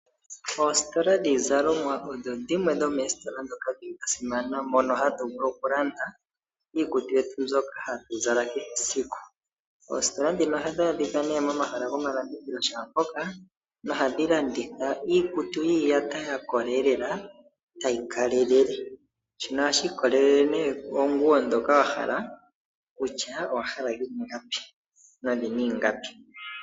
Oositola dhiizalomwa odho dhimwe dhomoositola dhasimana mono hatu vulu okulanda iizalomwa yetu mbyoka hatu zala kehe esiku. Oositola ndhoka ohadhi adhika momahala gomalandithilo shaampoka nohadhi landitha iikutu yiiyata ya kola lela tayi kalelele. Shino ohashi ikwatelele kiikutu mbyoka wa hala noyina ingapi.